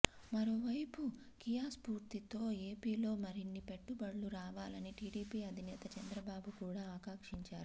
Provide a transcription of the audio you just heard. మరోవైపు కియా స్ఫూర్తితో ఏపీలో మరిన్ని పెట్టుబడులు రావాలని టీడీపీ అధినేత చంద్రబాబు కూడా ఆకాక్షించారు